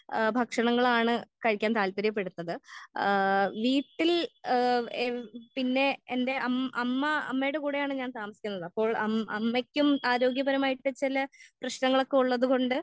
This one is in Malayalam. ആ ഭക്ഷണങ്ങളാണ് കഴിക്കാൻ താല്പര്യപെടുന്നത് ആ വീട്ടിൽ ഏഹ് എ പിന്നെ എൻ്റെ അം അമ്മ അമ്മേടെ കൂടെയാണ് ഞാൻ താമസിക്കുന്നത്. അപ്പോൾ അം അമ്മയ്ക്കും ആരോഗ്യപരമായിട്ട് ചെല പ്രേശ്നങ്ങൊളൊക്കെ ഉള്ളതുകൊണ്ട്